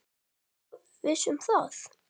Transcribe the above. Ertu svo viss um það?